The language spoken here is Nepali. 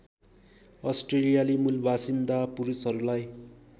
अस्ट्रेलियाली मूलबासिन्दा पुरुषहरूलाई